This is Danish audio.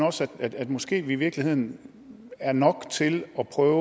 også at vi måske i virkeligheden er nok til at prøve